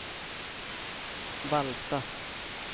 Vallsta